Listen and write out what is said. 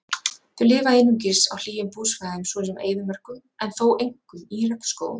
Þau lifa einungis á hlýjum búsvæðum svo sem eyðimörkum en þó einkum í regnskógum.